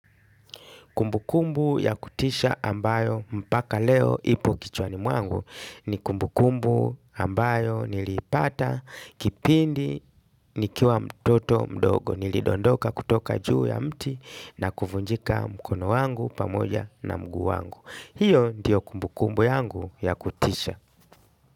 Kumbukumbu ya kutisha ambayo mpaka leo ipo kichwani mwangu ni kumbukumbu ambayo niliipata kipindi nikiwa mtoto mdogo. Nilidondoka kutoka juu ya mti na kubunjika mkono wangu pamoja na mguu wangu. Hiyo ndiyo kumbukumbu yangu ya kutisha.